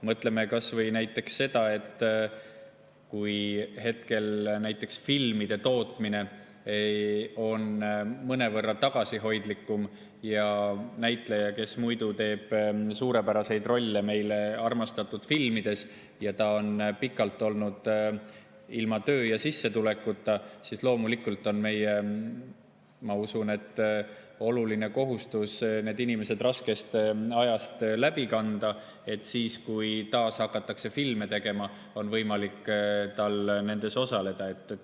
Mõtleme kas või selle peale, et kui hetkel filmide tootmine on mõnevõrra tagasihoidlikum ja näitleja, kes muidu teeb suurepäraseid rolle meie armastatud filmides, on pikalt olnud ilma töö ja sissetulekuta, siis loomulikult on meie, ma usun, oluline kohustus see inimene raskest ajast läbi, et siis, kui taas hakatakse filme tegema, oleks tal võimalik nendes osaleda.